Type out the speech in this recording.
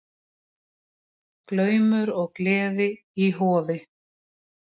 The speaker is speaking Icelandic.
Glaumur og gleði í Hofi